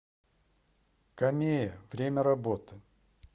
камея время работы